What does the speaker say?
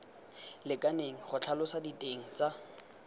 lekaneng go tlhalosa diteng tsa